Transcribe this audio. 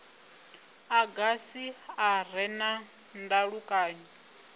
agasi a re na ndalukanyo